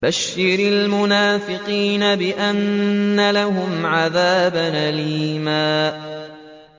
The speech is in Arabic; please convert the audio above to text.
بَشِّرِ الْمُنَافِقِينَ بِأَنَّ لَهُمْ عَذَابًا أَلِيمًا